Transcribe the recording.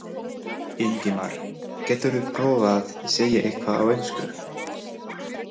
Ingimar: Geturðu prófað að segja eitthvað á ensku?